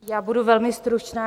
Já budu velmi stručná.